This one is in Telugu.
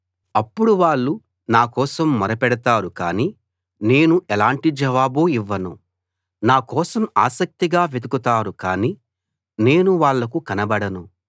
అప్పుడు వాళ్ళు నా కోసం మొరపెడతారు కానీ నేను ఎలాంటి జవాబూ ఇవ్వను నా కోసం ఆసక్తిగా వెతుకుతారు కానీ నేను వాళ్లకు కనబడను